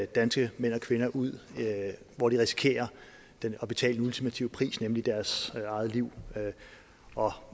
danske mænd og kvinder ud hvor de risikerer at betale den ultimative pris nemlig deres eget liv